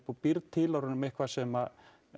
og býrð til úr honum eitthvað sem